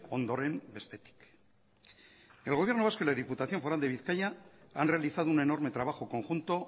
ondoren bestetik el gobierno vasco y la diputación foral de bizkaia han realizado un enorme trabajo conjunto